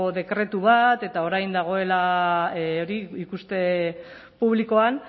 dekretu bat eta orain dagoela ikuste publikoan